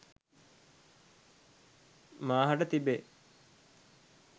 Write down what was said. මා හට තිබේ.